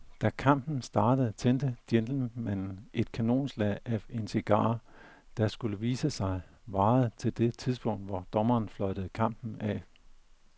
Da kampen startede tændte gentlemanen et kanonslag af en cigar, der, skulle det vise sig, varede til det tidspunkt, hvor dommeren fløjtede kampen af.